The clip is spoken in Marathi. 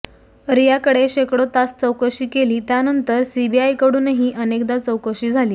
रियाकडे शेकडो तास चौकशी केली त्यानंतर सीबीआयकडूनही अनेकदा चौकशी झाली